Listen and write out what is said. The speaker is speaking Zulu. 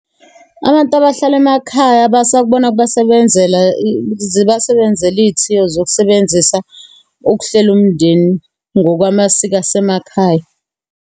Abantu abahlala emakhaya basakubona kubasebenzela, zibasebenzela iy'thiyo zokusebenzisa ukuhlela umndeni ngokwamasiko asemakhaya.